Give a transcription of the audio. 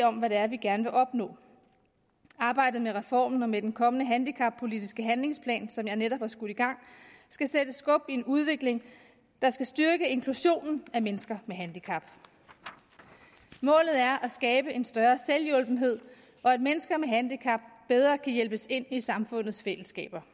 om hvad det er vi gerne vil opnå arbejdet med reformen og med den kommende handicappolitiske handlingsplan som jeg netop har skudt i gang skal sætte skub i en udvikling der skal styrke inklusionen af mennesker med handicap målet er at skabe en større selvhjulpenhed og at mennesker med handicap bedre kan hjælpes ind i samfundets fællesskaber